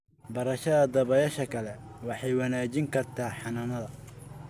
Barashada dabayasha kale waxay wanaajin kartaa xanaanada.